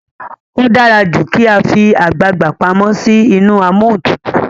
o dára jù kí a fí àgbagbà pàmò sí inú Amóhuntutù.